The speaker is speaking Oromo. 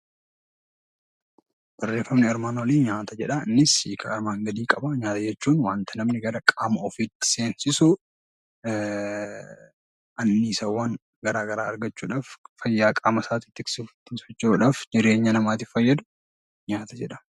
Barreeffamni armaan olii jedha. Innis hiika armaan gadii qaba. Nyaata jechuun waantota namni gara qaama ofiitti seensisu, anniisaawwan garaa garaa argachuudhaaf, fayyaa qaama isaa tiksuuf tiksachuudhaaf, jireenyaa namaatiif fayyadu nyaata jedhama.